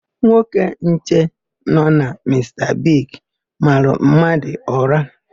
Nwoke nche nọ na Mista Bigi mara mmadụ ụra.